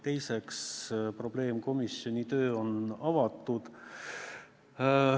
Teiseks, probleemkomisjoni töö on avatud.